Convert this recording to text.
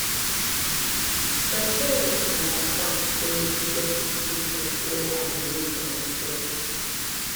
my parents understand sey e get decisions wey i go make for mysef